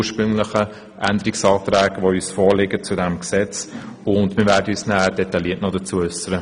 Wir werden uns später noch detailliert dazu äussern.